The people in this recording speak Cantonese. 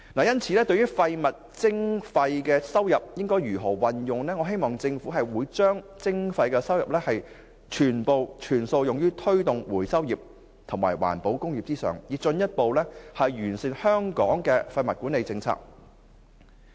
因此，對於廢物徵費收入的運用，我希望政府會把徵費收入全數用於推動回收業和環保工業，以進一步完善香港的廢物管理政策。